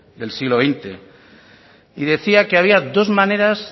del siglo veinte y decía que había dos maneras